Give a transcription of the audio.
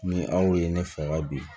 Ni aw ye ne fɛga bi